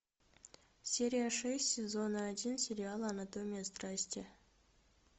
серия шесть сезона один сериала анатомия страсти